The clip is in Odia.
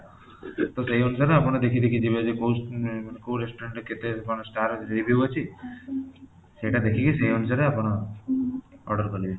ତ ସେଇ ଅନୁସାରେ ଆପଣ ଦେଖି ଦେଖି ଯିବେ ଯେ କୋଉ ମାନେ କୋଉ restaurant ରେ କେତେ କଣ star review ଅଛି ସେଇଟା ଦେଖିକି ସେଇ ଅନୁସାରେ ଆପଣ order କରିବେ